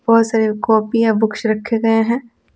बहुत सारे कॉपी या बुक्स रखे गए हैं।